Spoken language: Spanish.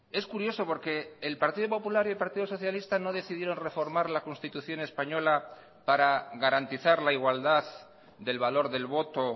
es curioso porque el partido popular y el partido socialista no decidieron reformar la constitución española para garantizar la igualdad del valor del voto